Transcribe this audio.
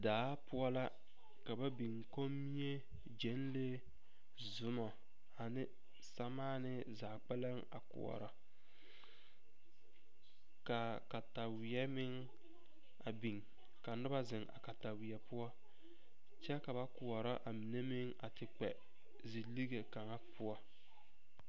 Daa poɔ la ka ba biŋ kommie gyenlee zumo ane samaani zaa kpɛlem a koɔrɔ ka kataweɛ meŋ a biŋ ka noba zeŋ a kataweɛ poɔ kyɛ ka ba koɔrɔ a mine meŋ a te kpɛ ziligeŋ kaŋa poɔ.